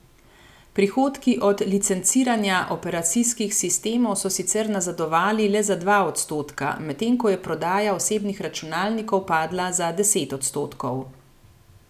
Prihodki od licenciranja operacijskih sistemov so sicer nazadovali le za dva odstotka, medtem ko je prodaja osebnih računalnikov padla za deset odstotkov.